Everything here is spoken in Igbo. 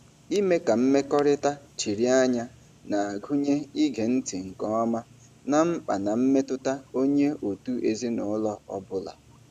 Ime ka mmekọrịta chiri anya na-agụnye ige ntị nke ọma ná mkpa na mmetụta onye òtù ezinụlọ ọ bụla.